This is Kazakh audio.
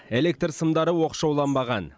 электр сымдары оқшауланбаған